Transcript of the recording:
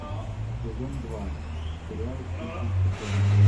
сезон два сериал тихий океан